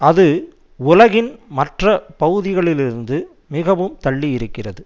அது உலகின் மற்ற பகுதிகளிலிருந்து மிகவும் தள்ளி இருக்கிறது